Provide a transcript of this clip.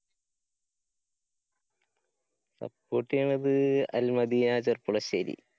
support ചെയ്യണത് അല്‍-മദീന ചെര്‍പ്പുളശ്ശേരി.